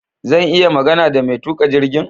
Zan iya magana da mai tuka jirgin?